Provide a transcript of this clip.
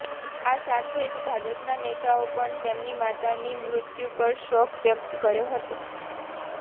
આ સાથે જ ભાજપના નેતાઓ પણ તેમની માતાની મૃત્યુ પર શોક વ્યક્ત કર્યો હતો